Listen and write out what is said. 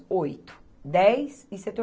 Oito, dez e setor